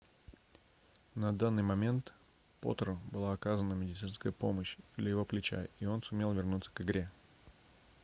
на данный момент потро была оказана медицинская помощь для его плеча и он сумел вернуться к игре